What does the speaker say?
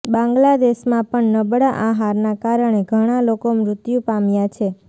બાંગ્લાદેશમાં પણ નબળા આહારના કારણે ઘણાં લોકો મૃત્યુ પામ્યા છે